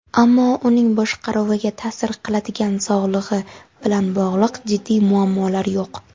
ammo uning boshqaruviga ta’sir qiladigan sog‘lig‘i bilan bog‘liq jiddiy muammolar yo‘q.